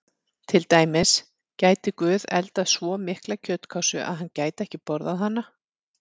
Til dæmis: Gæti Guð eldað svo mikla kjötkássu að hann gæti ekki borðað hana?